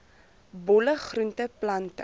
bolle groente plante